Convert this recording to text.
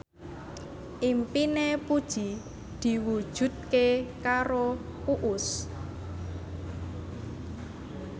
impine Puji diwujudke karo Uus